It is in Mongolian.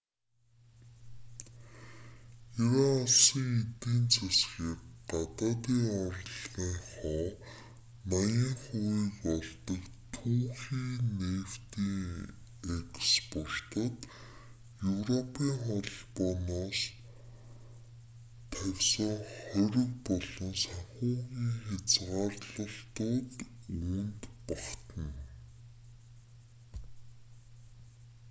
иран улсын эдийн засаг гадаадын орлогынхоо 80%-ийг олдог түүхий нефтийн экспортод европийн холбооноос тавьсан хориг болон санхүүгийн хязгаарлалтууд үүнд багтана